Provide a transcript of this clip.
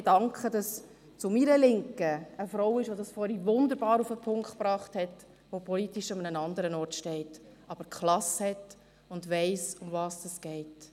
Ich danke dafür, dass zu meiner Linken eine Frau ist, die es vorhin wunderbar auf den Punkt gebracht hat, die politisch an einem anderen Ort steht, aber die Klasse hat und weiss, worum es geht.